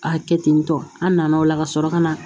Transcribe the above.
A kɛ ten tɔ an nana o la ka sɔrɔ ka na